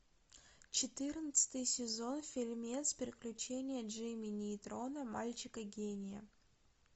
четырнадцатый сезон фильмец приключения джимми нейтрона мальчика гения